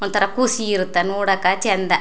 ಒಂತರ ಖುಷಿ ಇರುತ್ತೆ ನೋಡಕ್ಕ ಚಂದ --